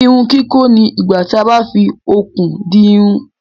Irun kikọ ní igbà tí a bá fí okùn di irun.